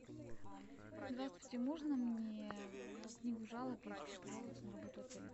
здравствуйте можно мне книгу жалоб я хочу пожаловаться на работу отеля